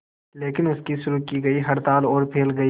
लेकिन उनकी शुरू की गई हड़ताल और फैल गई